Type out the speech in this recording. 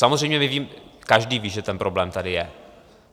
Samozřejmě každý ví, že ten problém tady je.